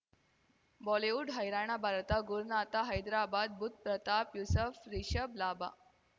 Bollywood ಹೈರಾಣ ಭಾರತ ಗುರುನಾಥ ಹೈದ್ರಾಬಾದ್ ಬುಧ್ ಪ್ರತಾಪ್ ಯೂಸುಫ್ ರಿಷಬ್ ಲಾಭ